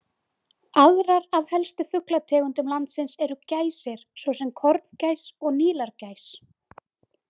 Aðrar af helstu fuglategundum landsins eru gæsir svo sem korngæs og nílargæs.